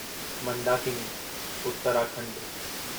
Mandakini (Uttarakhand)